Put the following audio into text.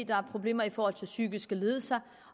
der er problemer i forhold til psykiske lidelser